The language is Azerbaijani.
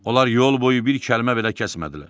Onlar yol boyu bir kəlmə belə kəsmədilər.